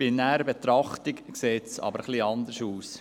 Bei näherer Betrachtung sieht es hingegen anders aus.